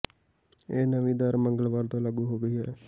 ਇਹ ਨਵੀਂ ਦਰ ਮੰਗਲਵਾਰ ਤੋਂ ਲਾਗੂ ਹੋ ਗਈ ਹੈ